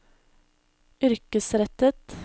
yrkesrettet